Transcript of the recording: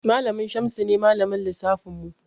Malamin Shamsu ne Malamin lissafinmu.